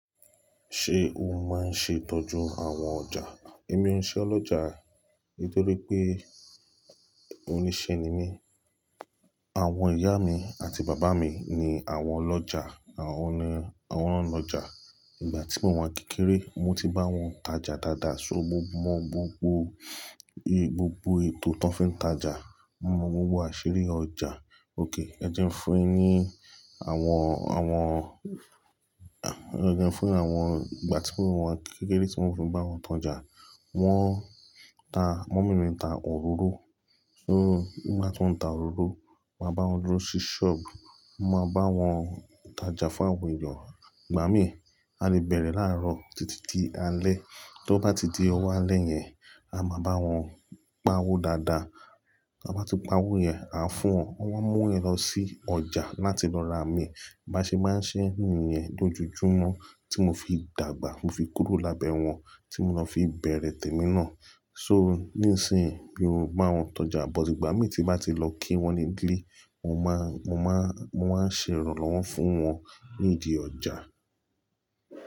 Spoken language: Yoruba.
Ṣé o máa ń ṣe ìtọ́jú àwọn ọjà? Èmi ò ń ṣe ọlọ́jà nítorí pé oníṣẹ́ ni mí. Àwọn ìyá mi àti bàbá mi ni àwọn ọlọ́jà, àwọn ni àwọn lọ́jà. Ìgbà tí mo wà ni kékeré, mo ti bá wọn tajà dáadáa. So mo mọ gbogbo, gbogbo ètò tí wọ́n fi ń tajà, mo mọ gbogbo àṣírí ọjà. Ókay ẹ jẹ́ n fún yin ni àwọn, àwọn, ẹ jẹ́ n fún àwọn ìgbà tí mo wà ni kékeré tí mo fi ń bá wọn tojà. Wọ́n ta, mommy mi ń ta òróró. So nigba ti mo ń ta òróró, màá bá wọn dúró sí ṣọ́ọ̀bù, mo máa bá wọn tajà fún àwọn èèyàn. Igbà mín, a lè bẹ̀rẹ̀ láàrọ̀ títí di alẹ́. Tí ó bá ti di owó alẹ́ yẹn, a máa bá wọn pa owó dáadáa. Ta bá ti pa owó yẹn, aa fún wọn, wọ́n á mú yẹn lọ sí ọjà láti lọ ra mí. Ba ṣe máa ń se niyẹn lójoojúmọ́ tí mo fi dàgbà, ti mo fi kúrò lábẹ́ wọn, tí mo lọ fi bẹ̀rẹ̀ tèmi náà. So nísìnyí mi o bá wọn tojà, but ìgbà mí tí m bá ti lọ kí wọ́n ní gílì, mo máa, mo máa, mo máa ń ṣe ìrànlọ́wọ́ fún wọn nídi ọjà.